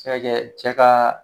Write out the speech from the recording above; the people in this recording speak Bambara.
Sɛ ka kɛ cɛ ka